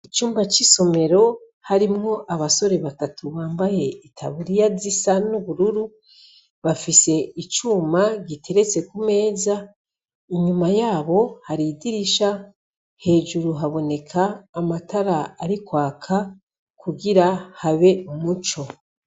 Icumba c'isomero harimwo abasore batatu bambaye itaburiya zisa n'ubururu, bafise icuma giteretse ku meza, inyuma yabo hari idirisha hejuru haboneka amatara ari kwaka kugira habe umuco.